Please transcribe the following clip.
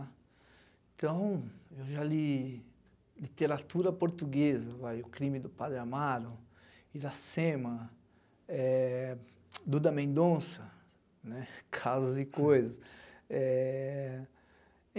Então, eu já li literatura portuguesa, vai, O Crime do Padre Amaro, Iracema, eh, Duda Mendonça, né, casos e coisas. Eh...